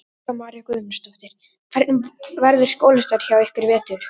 Helga María Guðmundsdóttir: Hvernig verður skólastarfið hjá ykkur í vetur?